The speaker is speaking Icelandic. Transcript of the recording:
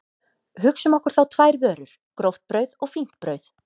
Hugsum okkur þá tvær vörur, gróft brauð og fínt brauð.